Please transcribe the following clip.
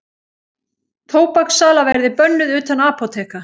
Tóbakssala verði bönnuð utan apóteka